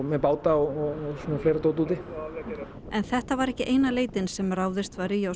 með báta og fleira úti en þetta var ekki eina leitin sem ráðist var í á